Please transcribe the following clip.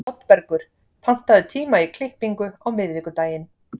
Oddbergur, pantaðu tíma í klippingu á miðvikudaginn.